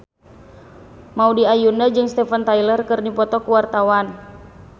Maudy Ayunda jeung Steven Tyler keur dipoto ku wartawan